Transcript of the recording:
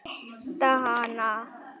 Fæ ég að hitta hana?